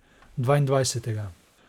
Dvaindvajsetega.